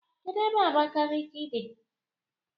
Kedụ ebe Abakiliki dị?